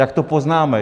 Jak to poznáme?